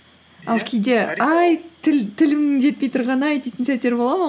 тілімнің жетпей тұрғаны ай дейтін сәттер бола ма